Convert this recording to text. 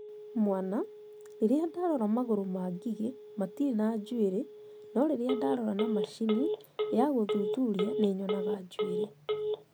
Mwana -"Rĩrĩa ndarora magũrũ ma ngigĩ matirĩ na njuĩrĩ no rĩrĩa ndarora na macini ya gũthuthuria, nĩ nyonaga njuĩrĩ "